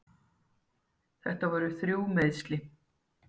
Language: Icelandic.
Þetta voru þrjú meiðsli.